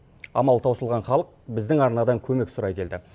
амалы таусылған халық біздің арнадан көмек сұрай келді